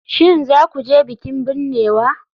Shin za ku je bikin binnewa?